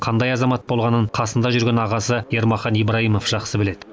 қандай азамат болғанын қасында жүрген ағасы ермахан ибраимов жақсы біледі